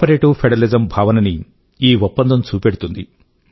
cooperative federalism భావనని ఈ ఒప్పందం చూపెడుతుంది